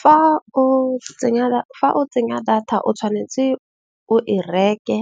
Fa o tsenya data o tshwanetse o e reke.